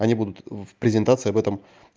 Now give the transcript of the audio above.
они будут в презентации об этом